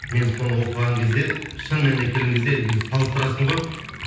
мен соны оқыған кезде шын мәнінде келген кезде салыстырасың ғой